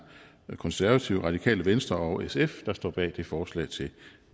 konservative radikale venstre og sf der står bag det forslag til